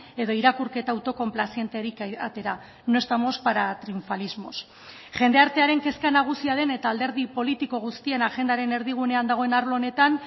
edo irakurketa autokonplazienterik atera no estamos para triunfalismos jendartearen kezka nagusia den eta alderdi politiko guztien agendaren erdigunean dagoen arlo honetan